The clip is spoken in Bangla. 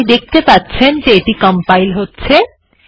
আপনি দেখতে পাচ্ছেন যে এটি কম্পাইল হচ্ছে